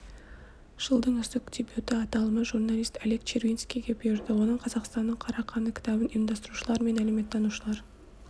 жылдың үздік дебюті аталымы журналист олег червинскийге бұйырды оның қазақстанның қара қаны кітабын ұйымдастырушылар мен әлеуметтанушылар